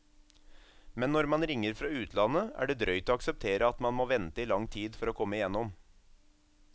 Men når man ringer fra utlandet er det drøyt å akseptere at man må vente i lang tid for å komme gjennom.